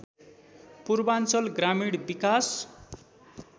पूर्वाञ्चल ग्रामीण विकास